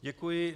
Děkuji.